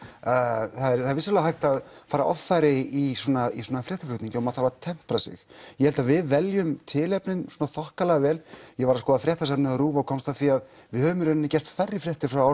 það er vissulega hægt að fara offari í svona í svona fréttaflutningi og maður þarf að tempra sig ég held að við veljum tilefnin þokkalega vel ég var að skoða fréttasafnið á RÚV og komst að því að við höfum gert færri fréttur frá